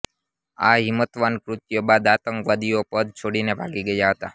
આ હિંમતવાન કૃત્ય બાદ આતંકવાદીઓ પદ છોડીને ભાગી ગયા હતા